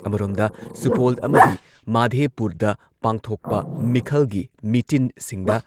ꯑꯃꯔꯣꯝꯗ, ꯁꯨꯄꯣꯜ ꯑꯃꯗꯤ ꯃꯥꯙꯦꯄꯨꯔꯗ ꯄꯥꯡꯊꯣꯛꯄ ꯃꯤꯈꯜꯒꯤ ꯃꯤꯇꯤꯟꯁꯤꯡꯗ